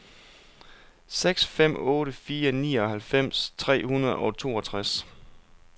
seks fem otte fire nioghalvfems tre hundrede og toogtres